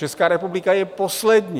Česká republika je poslední.